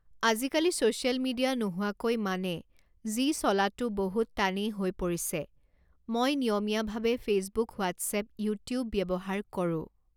আজিকালি social media নোহোৱাকৈ মানে যি চলাটো বহুত টানেই হৈ পৰিছে মই নিয়মীয়াভাৱে ফেচবুক হোৱাটছ্এপ ইউটিউব ব্যৱহাৰ কৰোঁ